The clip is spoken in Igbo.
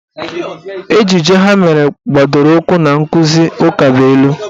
Ejije ha mere gbadoro ụkwụ na nkụzi ukabụilu